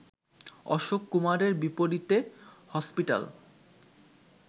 অশোক কুমারের বিপরীতে হসপিটাল